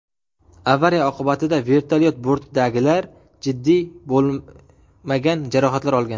Avariya oqibatida vertolyot bortidagilar jiddiy bo‘lmagan jarohatlar olgan.